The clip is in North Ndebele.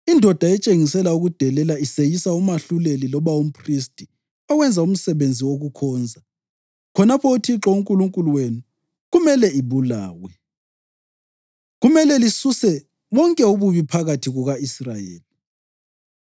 Indoda etshengisela ukudelela iseyisa umahluleli loba umphristi owenza umsebenzi wokukhonza khonapho uThixo uNkulunkulu wenu kumele ibulawe. Kumele lisuse bonke ububi phakathi kuka-Israyeli.